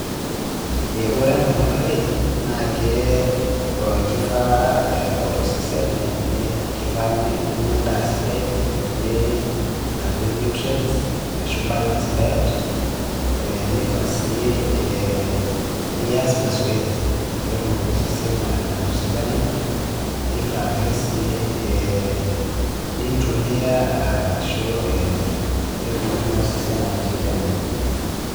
Eh ore enaaolmarei naakee keifaa eh ore osesen, keifaa ninya endaa sidai natii nutrients ashu balanced diet eeh neifaa sii eeh nias mazoezi peetumoki osesen aatosidana neifaake sii eh nintulia ah ashuu eh peetumoki naaosesen atosidana .